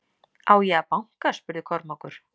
Á ég að banka spurði Kormákur.